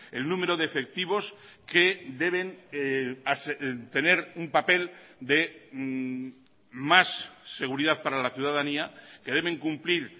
el número de efectivos que deben tener un papel de más seguridad para la ciudadanía que deben cumplir